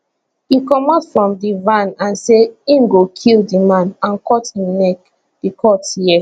e comot from di van and say im go kill di man and cut im neck di court hear